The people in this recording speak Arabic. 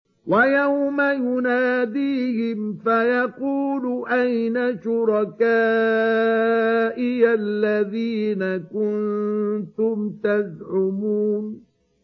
وَيَوْمَ يُنَادِيهِمْ فَيَقُولُ أَيْنَ شُرَكَائِيَ الَّذِينَ كُنتُمْ تَزْعُمُونَ